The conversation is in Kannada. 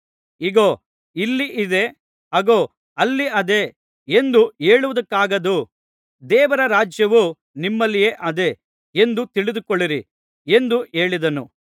ಇಗೋ ಇಲ್ಲಿ ಇದೆ ಅಗೋ ಅಲ್ಲಿ ಅದೆ ಎಂದು ಹೇಳುವುದಕ್ಕಾಗದು ದೇವರ ರಾಜ್ಯವು ನಿಮ್ಮಲ್ಲಿಯೇ ಅದೆ ಎಂದು ತಿಳಿದುಕೊಳ್ಳಿರಿ ಎಂದು ಹೇಳಿದನು